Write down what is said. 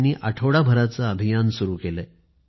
त्यांनी आठवडाभर तेथे अभियान चालवले